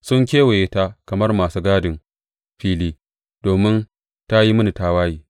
Sun kewaye ta kamar masu gadin fili, domin ta yi mini tawaye,’